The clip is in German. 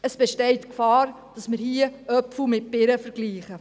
Es besteht die Gefahr, dass man hier Äpfel mit Birnen vergleicht.